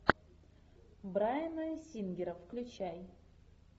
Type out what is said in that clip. брайана сингера включай